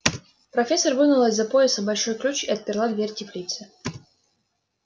профессор вынула из-за пояса большой ключ и отперла дверь теплицы